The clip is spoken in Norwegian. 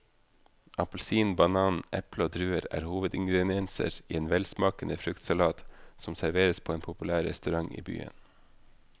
Appelsin, banan, eple og druer er hovedingredienser i en velsmakende fruktsalat som serveres på en populær restaurant i byen.